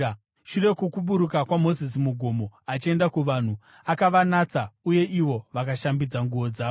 Shure kwokuburuka kwaMozisi mugomo achienda kuvanhu, akavanatsa, uye ivo vakashambidza nguo dzavo.